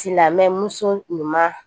Silamɛmuso ɲuman